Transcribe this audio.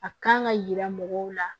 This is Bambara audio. A kan ka yira mɔgɔw la